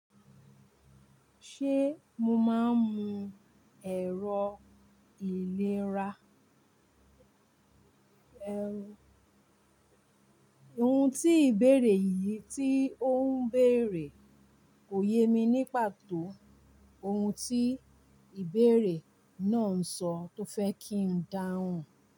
Ṣé mo máa ń mu ẹ̀rọ ìlera? Ohun tí ìbéèrè yìí tí ó ń béèrè kò yé mi ní pàtó ohun tí ìbéèrè náà ń sọ tó fẹ́ kí n dáhùn.